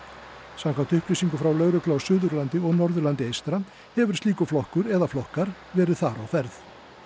samkvæmt upplýsingum frá lögreglu á Suðurlandi og Norðurlandi eystra hefur slíkur flokkur eða flokkar verið þar á ferð